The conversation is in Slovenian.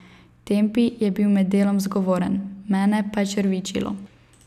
Tempi je bil med delom zgovoren, mene pa je črvičilo.